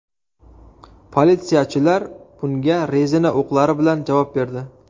Politsiyachilar bunga rezina o‘qlari bilan javob berdi.